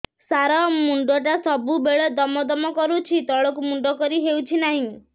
ସାର ମୁଣ୍ଡ ଟା ସବୁ ବେଳେ ଦମ ଦମ କରୁଛି ତଳକୁ ମୁଣ୍ଡ କରି ହେଉଛି ନାହିଁ